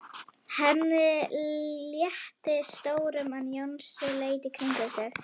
Henni létti stórum en Jónsi leit í kringum sig.